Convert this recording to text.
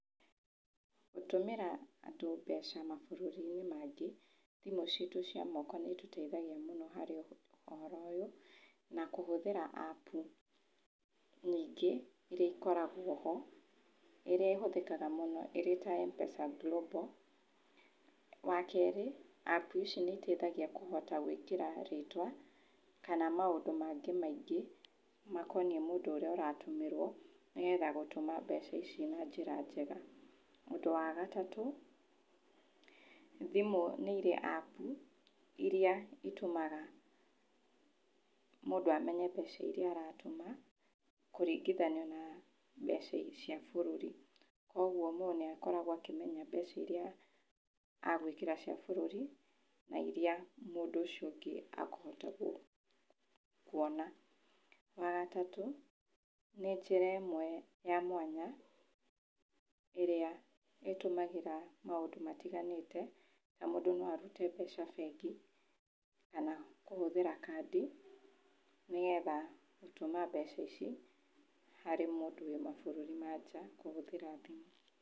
Gũtũmĩra andũ mbeca mabũrũri-inĩ maingĩ, thimũ citũ cia moko nĩitũteithagia mũno harĩ ũhoro ũyũ, na kũhũthĩra apu nyingĩ iria ikoragwo ho ĩrĩa ĩhũthĩkaga mũno ĩrĩ ta Mpesa Global. Wakerĩ apu ici nĩiteithagia kũhota gwĩkĩra rĩtwa kana maũndũ mangĩ maingĩ makoniĩ mũndũ ũrĩa ũratũmĩrwo nĩgetha gũtũma mbeca ici na njĩra njega. Ũndũ wa gatatũ, thimũ nĩirĩ apu iria itũmaga mũndũ amenye mbeca iria aratũma kũringithanio na mbeca cia bũrũri. Kuoguo mũndũ nĩakoragwo akĩemnya mbeca iria agwĩkĩra cia bũrũri na iria mũndũ ũcio ũngĩ akũhota kuona. Wagatatũ, nĩ njĩra ĩmwe ya mwanya, ĩrĩa ĩtũmagĩra maũndũ matiganĩte, na nmũndũ no arute mbeca bengi kana kũhũthĩra kandi nĩgetha gũtũma mbeca ici harĩ mũndũ wĩ mabũrũri ma nja kũhũthĩra thimũ.